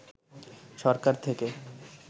সরকার থেকে